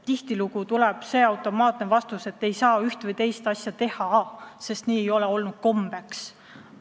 Tihtilugu tuleb automaatne vastus, et ei saa üht või teist asja teha, sest nii ei ole olnud kombeks.